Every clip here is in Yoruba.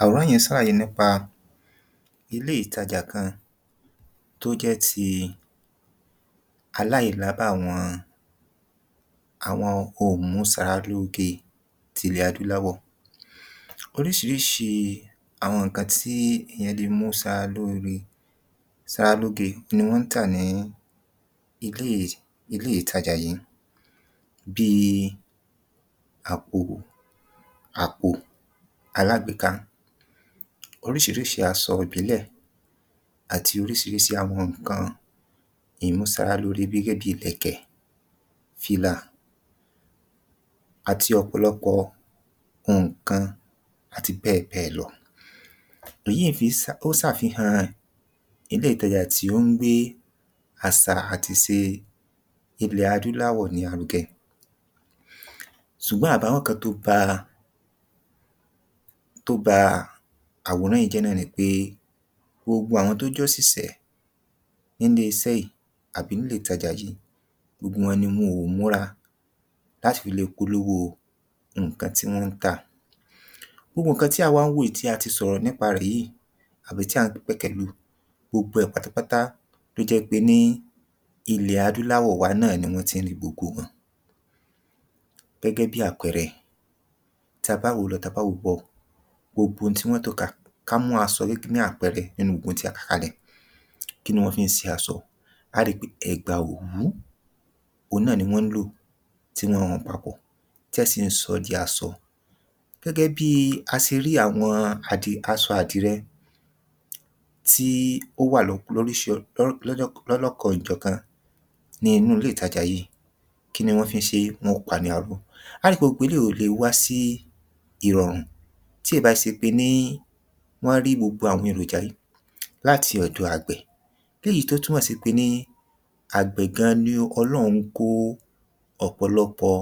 àwòrán yìí ń sàlàyé nípa ilé ìtajà kan tó jẹ́ ti aláìlábàwọ́n àwọn oǹmúsaralóoge tilẹ̀ adúláwọ̀ oríṣiríṣi àwọn nǹkan tí èèyàn le mú sara lóore sara lóge ni wọ́n ń tà ní ilé ìtajà yìí bíi àpòò àpò alágbèéká oríṣiríṣi asọ ìbílẹ̀ àti orísirísi àwọn nǹkan ìmúsara lóore bíi gẹ́gẹ́ bíi ìlẹ̀kẹ̀ fìlà àti ọ̀pọ̀lọpọ̀ nǹkan àti bẹ́ẹ̀bẹ́ẹ̀ lọ èyí fi ń sà ó sàfihàn ilé ìtajà tí ó ń gbé àsà àtise ilẹ̀ adúláwọ̀ ní arugẹ sùgbọ́n àbàwọ́n kan tó ba tó ba àwòrán ìí jẹ́ náà ni pé gbogbo àwọn tó jósìsẹ́ nílé isẹ́ ìí àbí nílé ìtajà yìí gbogbo wọn ni wọn ò múra láti fi le polówó nǹkan tí wọ́n ń tà gbogbo nǹkan tí à ń wá wò í tí a ti sọ̀rọ̀ nípa rẹ̀ yìí àbí tí à ń pẹ̀kẹ́ lù gbogbo ẹ̀ pátápátá tó jẹ́ pe ́ ní ilẹ̀ adúláwọ̀ wa náà ni wọ́n ti ń rí gbogbo wọn gẹ́gẹ́ bíi àpẹẹrẹ tí a bá wò ó lọ tí a bá wò ó bọ̀ gbogbo ohun tí wọ́n tò kalẹ̀ ká mú asọ ní àpẹẹrẹ nínú gbogbo ohun tí a kà kalẹ̀ kí ni wọ́n fi ń se asọ á a ri pé ẹ̀gbà òwú oun náà ni wọ́n ń lò tí wọn hun papọ̀ tó jẹ́ asọ gẹ́gẹ́ bíi a si rí àwọn àdì asọ àdìrẹ tí ó wà lóríṣi lọ́lọ́kanòjọ̀kan ní inú ilé ìtajà yìí kíni wọ́n fi ń ṣe é wọ́n ó pa á ní aró á o rí pé gbogbo eléyìí ò lè wá sí ìrọ̀rùn tí è bá se pé ní wọ́n rí gbogbo àwọn èròjà yìí láti ọ̀dọ̀ àgbẹ̀ lèyí tó túmọ̀ sí wí pé ní àgbẹ̀ gan-an ni ọlọ́run kó ọ̀pọ̀lọpọ̀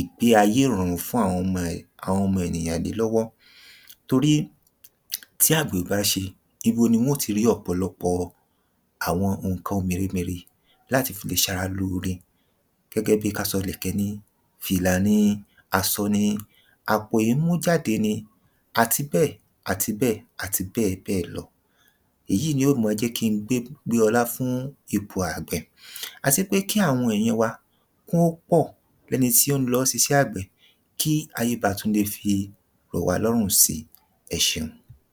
ìgbé ayé ìrọ̀rùn fún àwọn ẹ̀ àwọn ọmọ ènìyàn lè lọ́wọ́ torí tí àgbẹ̀ ò bá ṣẹ ibo ni wọ́n ó ti rí ọ̀pọ̀lọpọ̀ àwọn nǹkan ohun mèremère láti fì lè ṣara lóore gẹ́gẹ́ bíi ká sọ̀'lẹ̀kẹ̀ ni fìlà ni asọ ni àpò ìmújáde ni àti bẹ́ẹ̀ àti bẹ́ẹ̀ àti bẹ́ẹ̀bẹ́ẹ̀ lọ èyí ni ó mọ jẹ́ kí n gbé gbé ọlá fún ipò àgbẹ̀ à sé pé kí àwọn èèyàn wa kí wọ́n ó pọ̀ lẹ́ni tí ó ń lọ sisẹ́ àgbẹ̀ kí ayé ba tún le fi rọ̀ wá lọ́rùn si ẹ ṣẹun